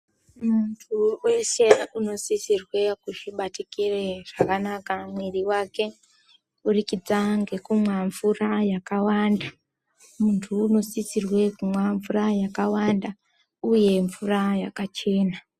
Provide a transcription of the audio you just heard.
Muntu weshe unosisirwe kuzvibatikire zvakanaka muiri wake kuburikidza nokunwa mvura yakawanda, muntu unosisirwa kunwaa yakawanda uye mvura yakachena.